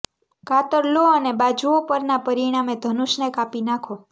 કાતર લો અને બાજુઓ પરના પરિણામે ધનુષને કાપી નાખો